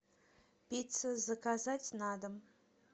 пицца заказать на дом